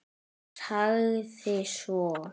Sagði svo